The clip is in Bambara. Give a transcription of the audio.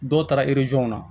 Dɔw taara na